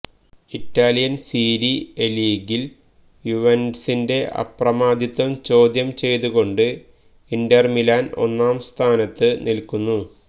Italian Serie A ലീഗില് യുവെന്റസിന്റെ അപ്രമാദിത്വം ചോദ്യം ചെയ്തു കൊണ്ട് ഇന്റര്മിലാന് ഒന്നാം സ്ഥാനത്ത് നില്ക്കുന്നു